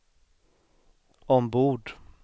ombord